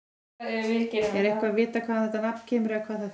Er eitthvað vitað hvaðan þetta nafn kemur eða hvað það þýðir?